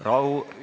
Rahu!